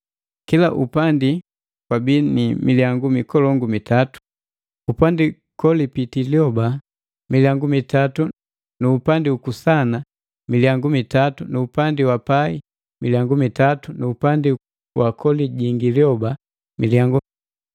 Kila upandi kwabii ni milyangu mikolongu mitatu: Upandi kolipitii lioba milyangu mitatu nu upandi uku kusana milyangu mitatu nu upandi wa pai milyangu mitatu nu upandi kolijingi lyoba milyangu.